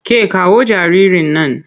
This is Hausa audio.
Ke kawo jaririn nan!